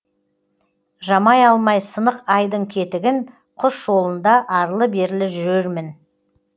жамай алмай сынық айдың кетігін құс жолында арлы берлі жүрермін